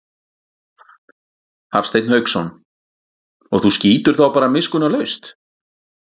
Hafsteinn Hauksson: Og þú skýtur þá bara miskunnarlaust?